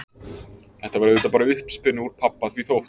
Þetta var auðvitað bara uppspuni úr pabba því þótt